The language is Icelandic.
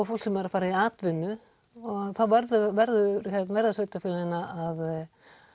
fólk sem er að fara í atvinnu og þá verða verða sveitafélögin að